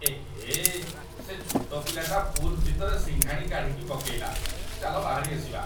ଏହେ! ସେ ଛୋଟ ପିଲାଟା ପୁଲ୍ ଭିତରେ ସିଙ୍ଘାଣି କାଢ଼ିକି ପକେଇଲା । ଚାଲ ବାହାରି ଆସିବା।